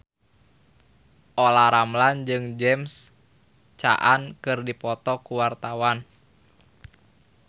Olla Ramlan jeung James Caan keur dipoto ku wartawan